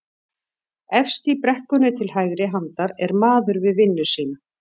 Efst í brekkunni til hægri handar er maður við vinnu sína